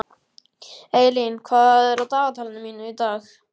Eylín, hvað er á dagatalinu mínu í dag?